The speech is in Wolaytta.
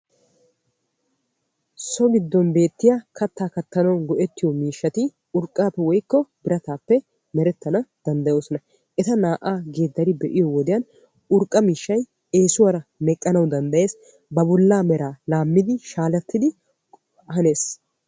So gidon beetiya katta kattanawu maadiya buquratti urqqappe woykko biratappe mereetees. Etta naa'a geedari be'iyo wodiyan urqqa miishshay eesuwan meqqanna danddayees ba bolla merakka laames.